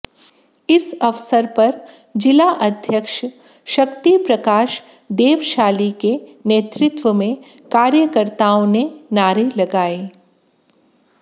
इस अवसर पर जिला अध्यक्ष शक्ति प्रकाश देवशाली के नेतृत्व में कार्यकर्ताओं ने नारे लगाए